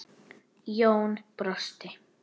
Jón brosti.